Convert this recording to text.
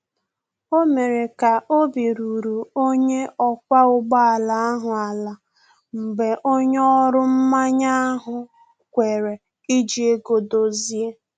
O mere ka obi ruru onye ọkwa ụgbọ ala ahụ ala mgbe onye ọrụ mmanye ahụ kwere iji ego dozie